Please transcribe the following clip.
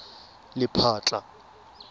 lephatla